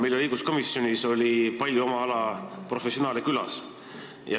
Meil oli õiguskomisjonis palju oma ala professionaale külas.